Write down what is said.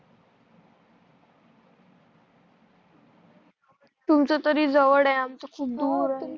तुमच तरी जवळ आहे खूप दूर आहे